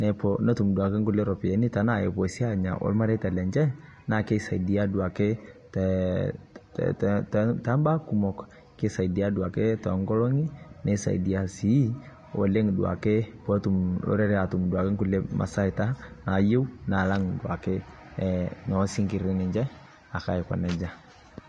nepuo aatum kulie ropiyiani nepuo aanya ormareita lenche, na keduaadake ee te baa kumok kisaidia duo ake tonkolongi nisaidia si oleng duake pee etum mm orere aatum duoake masaita naayieu naalang duoake osinkirri aiko nejia.